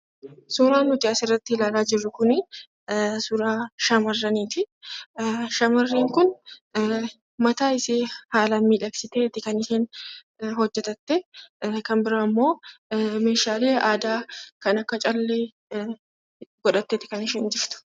Suuraan nuti asirratti ilaalaa jirru kunii suuraa shamarraniiti shamarreen kun mataa ishee haalaan miidhagsiteeti kan isheen hojjatattee, kan biraammoo meeshaalee aadaa kan akka callee godhatteeti kan isheen jirtu.